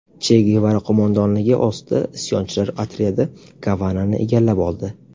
Che Gevara qo‘mondonligi ostidagi isyonchilar otryadi Gavanani egallab oldi.